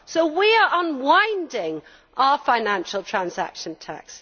So we are unwinding our financial transaction tax.